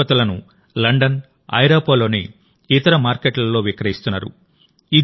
వారి ఉత్పత్తులను లండన్ ఐరోపాలోని ఇతర మార్కెట్లలో విక్రయిస్తున్నారు